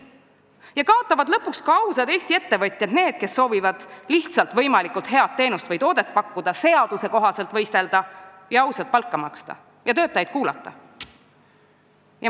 Nii kaotavad lõpuks ka ausad Eesti ettevõtjad – need, kes soovivad lihtsalt pakkuda võimalikult head teenust või toodet, seadusekohaselt võistelda ja maksta ausat palka ning oma töötajaid kuulata.